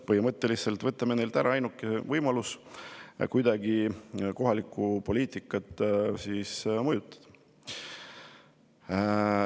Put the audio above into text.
Põhimõtteliselt võtame neilt ära ainukese võimaluse kuidagi kohalikku poliitikat mõjutada.